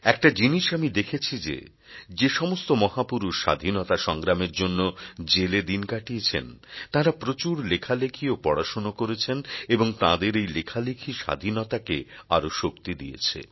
একটা জিনিস আমি দেখেছি যে যে সমস্ত মহাপুরুষ স্বাধীনতা সংগ্রামের জন্য জেলে দিন কাটিয়েছেন তাঁরা প্রচুর লেখালেখি ও পড়াশোনা করেছেন এবং তাঁদের এই লেখালেখি স্বাধীনতাকে আরও শক্তি দিয়েছে